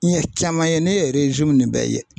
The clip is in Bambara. N ɲɛ caman ye ne ye nin bɛɛ ye